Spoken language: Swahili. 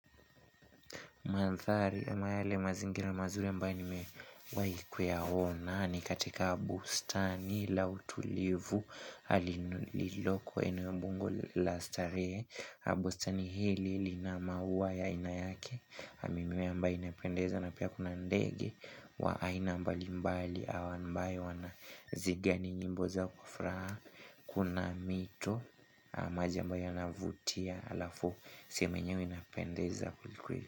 Mandhari, ama yale mazingira mazuri ambae ni mewai kuya ona. Ni katika bustani la utulivu. Alinuliko eneo mbunge la starehe. Bustani hili lina maua ya aina yake. Na mimea ambae inapendeza na pia kuna ndege. Wa aina mbali mbali. Au ambae wana zigani nyimboza kufraa. Kuna mito. Maji ambayo yanavutia. Alafu sehemu enyewe inapendeza kweli kweli.